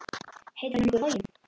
Heitir hann nokkuð Logi?